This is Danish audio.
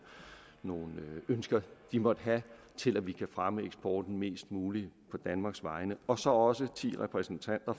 ønsker de måtte have til at vi kan fremme eksporten mest muligt på danmarks vegne og så også få ti repræsentanter